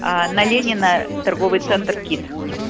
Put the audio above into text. на ленина торговый центр кит